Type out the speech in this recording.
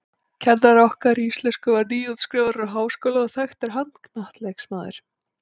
Kennari okkar í íslensku var nýútskrifaður úr háskóla og þekktur handknattleiksmaður.